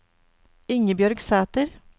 Ingebjørg Sæter